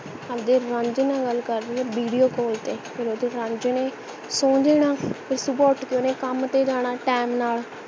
ਆਪਦੇ ਰਾਂਝੇ ਨਾਲ ਗੱਲ ਕਰ ਰਹੀ ਹੈ video call ਤੇ ਫੇਰ ਓਹਦੇ ਰਾਂਝੇ ਨੇ ਸੋ ਜਾਣਾ ਫੇਰ ਸੁਭ ਉੱਠ ਕੇ ਓਹਨੇ ਕੱਮ ਤੇ ਜਾਣਾ time ਨਾਲ